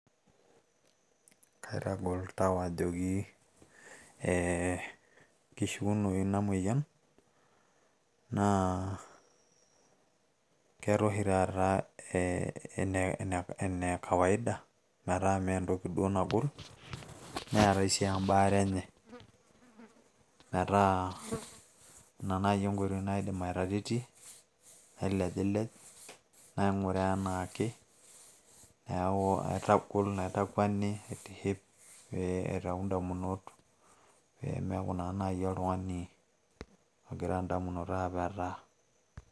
kaitagol tau ajoki eee kishuonoyu ina moyian na keeta oshi tata ene kawaida meeta me ntoki duo nagol netae si embare enye meeta ina naaji enkoitoi naidim ataretie nailejilej, naingura enake, niaku aitagol, naitakwenie, naitiship pee eitayu indamunot ,pemiaku taa naji oltungani ongira inadmunot apeta.